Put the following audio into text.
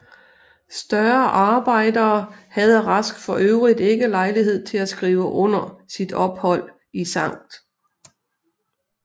Større arbejder havde Rask for øvrigt ikke lejlighed til at skrive under sit ophold i Skt